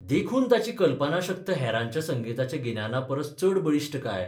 देखून ताची कल्पनाशक्त हेरांच्या संगिताच्या गिन्याना परस चड बळिश्ठ काय?